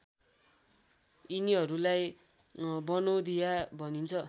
यिनीहरूलाई बनौधिया भनिन्छ